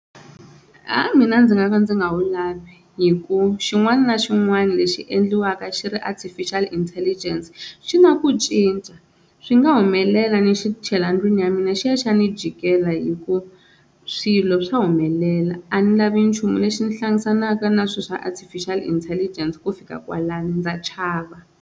Ha mina ndzi nga ka ndzi nga wu lavi hi ku xin'wana na xin'wana lexi endliwaka xi ri artificial intelligence xi na ku cinca, swi nga humelela ni xi chela ndlwini ya mina xi ya xa ni jikela hikuva swilo swa humelela a ni lavi nchumu lexi ni hlanganaka na swilo swa artificial intelligence ku fika kwalano ndza chava.